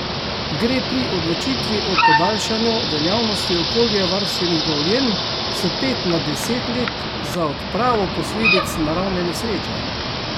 Gre pri odločitvi o podaljšanju veljavnosti okoljevarstvenih dovoljenj s pet na deset let za odpravo posledic naravne nesreče?